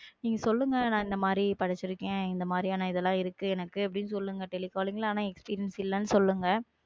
நீங்க சொல்லுங்க நான் இந்த மாதிரி படிச்சிருக்கேன். இந்த மாதிரியான இதெல்லாம் இருக்கு எனக்கு சொல்லுங்க telecalling ஆனா experience இல்லைன்னு சொல்லுங்க.